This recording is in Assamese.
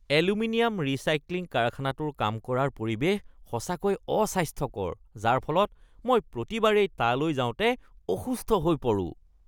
এলুমিনিয়াম ৰিচাইক্লিং কাৰখানাটোৰ কাম কৰাৰ পৰিৱেশ সঁচাকৈয়ে অস্বাস্থ্যকৰ যাৰ ফলত মই প্ৰতিবাৰেই তালৈ যাওঁতে অসুস্থ হৈ পৰোঁ।